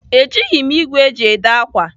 Ejighị m ìgwè eji èdè ákwà.